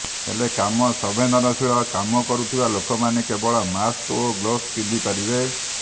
ହେଲେ କମ ସମ୍ବେଦନଶୀଳ କାମ କରୁଥିବା ଲୋକମାନେ କେବଳ ମାସ୍କ ଓ ଗ୍ଲୋବସ ପିନ୍ଧି ପାରିବେ